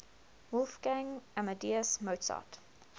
wolfgang amadeus mozart